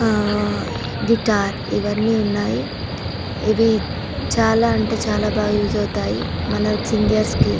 ఆ గిటార్ ఇవన్నీ ఉన్నాయి ఇవి చాలా అంటే చాలా బాగా యూస్ అవుతాయి మన సింగర్స్ కి.